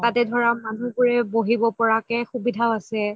তাতে ধৰা মানুহ বোৰে বহিব পাৰাকে সুবিধাও আছে